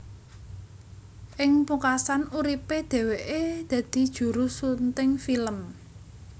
Ing pungkasan uripe dheweke dadi juru sunting film